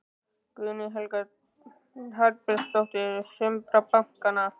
Guðný Helga Herbertsdóttir: Sumra bankanna?